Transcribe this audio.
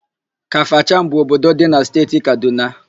Kafachan bụ obodo dị na Steeti Kadụna.